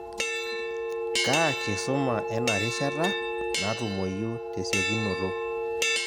Kaa kisuma ena rishata natumoyu tesiokinoto?